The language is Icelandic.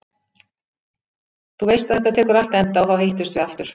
Þú veist að þetta tekur allt enda og þá hittumst við aftur.